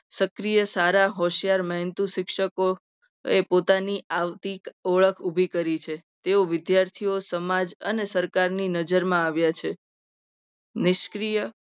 સક્રિય સારા હોશિયાર બનતું શિક્ષકો એ પોતાની આગવી ઓળખ ઉભી કરી છે. તેઓ વિદ્યાર્થીઓ સમાજ અને સરકારની નજરમાં આવ્યા છે. નિષ્ક્રિય